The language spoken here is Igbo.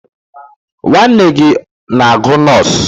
Nwanne gị na-agụ nọs?